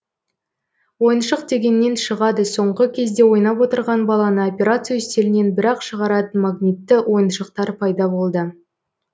ойыншық дегеннен шығады соңғы кезде ойнап отырған баланы операция үстелінен бір ақ шығаратын магнитті ойыншықтар пайда болды